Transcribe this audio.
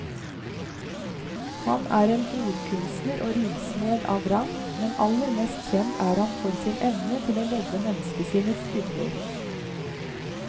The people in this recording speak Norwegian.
Han er en ordkunstner og rimsmed av rang, men aller mest kjent er han for sin evne til å lodde menneskesinnets dybder.